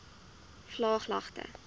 vlaaglagte